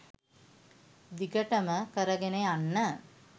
දිගටම කරගෙන යන්න.